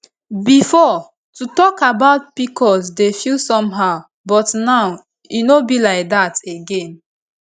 before to talk about pcos dey feel somehow but now e no be like that again